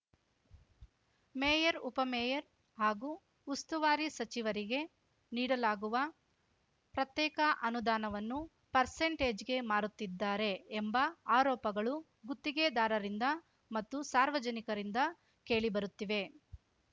mayor ಉಪಮೇಯರ್‌ ಹಾಗೂ ಉಸ್ತುವಾರಿ ಸಚಿವರಿಗೆ ನೀಡಲಾಗುವ ಪ್ರತ್ಯೇಕ ಅನುದಾನವನ್ನು ಪರ್ಸಂಟೇಜ್‌ಗೆ ಮಾರುತ್ತಿದ್ದಾರೆ ಎಂಬ ಆರೋಪಗಳು ಗುತ್ತಿಗೆದಾರರಿಂದ ಮತ್ತು ಸಾರ್ವಜನಿಕರಿಂದ ಕೇಳಿಬರುತ್ತಿವೆ